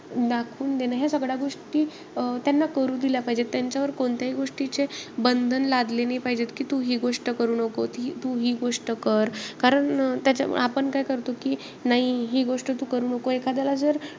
दाखवून देणं, या सगळ्या गोष्टी अं त्यांना करू दिल्या पाहिजेत. त्यांच्यावर कोणत्याही गोष्टीचे बंधन लादले नाई पाहिजेत. की तू हि गोष्ट करू नको, तू हि गोष्ट कर. कारण त्या~ आपण काय करतो की, नाई हि गोष्ट तू करू नको एखाद्याला जर,